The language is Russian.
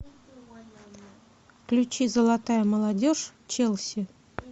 включи золотая молодежь челси